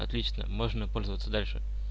отлично можно пользоваться дальше